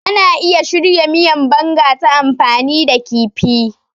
Ana iya shirya miyan Banga ta amfani da kifi.